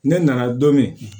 Ne nana don min